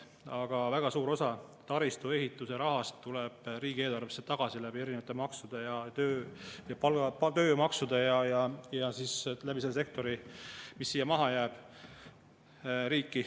Aga väga suur osa taristuehituse rahast tuleb riigieelarvesse tagasi tööjõumaksude kaudu ja läbi selle sektori, mis siia riiki maha jääb.